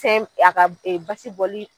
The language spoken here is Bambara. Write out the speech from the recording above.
Fɛn a ka basi bɔli